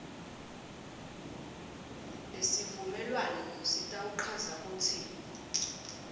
lesivumelwano sitawuchaza kutsi